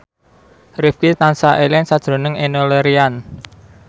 Rifqi tansah eling sakjroning Enno Lerian